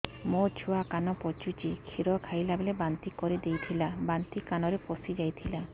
ମୋ ଛୁଆ କାନ ପଚୁଛି କ୍ଷୀର ଖାଇଲାବେଳେ ବାନ୍ତି କରି ଦେଇଥିଲା ବାନ୍ତି କାନରେ ପଶିଯାଇ ଥିଲା